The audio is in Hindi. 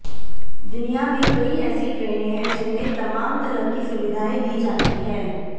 दुनिया में कई ऐसी ट्रेनें हैं जिनमें तमाम तरह की सुविधाएं दी जाती हैं